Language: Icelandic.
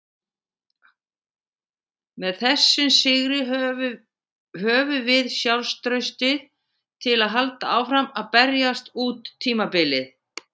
Með þessum sigri höfum við sjálfstraustið til að halda áfram að berjast út tímabilið.